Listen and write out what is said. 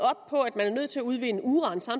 er nødt til udvinde uran så